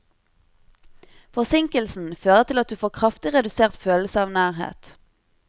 Forsinkelsen fører til at du får kraftig redusert følelse av nærhet.